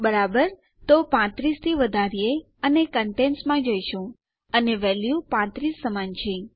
બરાબર તેથી ચાલો 35 થી વધારીએ અને આપણે કન્ટેન્ટસમાં જઈ રહ્યા છીએ અને આ વેલ્યુ 35 સમાન છે